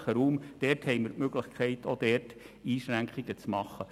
Hier haben wir die Möglichkeit, auch diesbezüglich Einschränkungen zu machen.